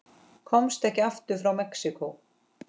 Komst ekki aftur frá Mexíkó